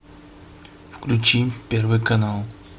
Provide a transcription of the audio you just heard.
включи первый канал